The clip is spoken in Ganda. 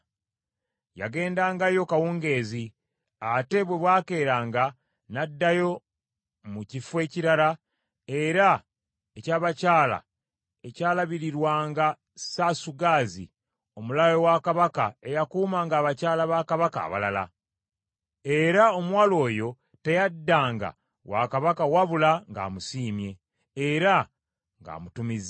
Yagendangayo kawungeezi, ate bwe bwakeeranga, n’addayo mu kifo ekirala era eky’abakyala ekyalabirirwanga Saasugazi, omulaawe wa Kabaka eyakuumanga abakyala ba Kabaka abalala. Era omuwala oyo teyaddanga wa Kabaka wabula ng’amusiimye, era ng’amutumizza.